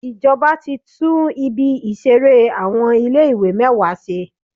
Ìjọba ti tún ibi ìṣeré àwọn ilé ìwé mẹ́wàá ṣe.